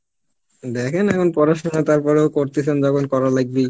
দেখেন এখন পড়াশুনা তারপরেও করতেসেন যখন করা লাগবেই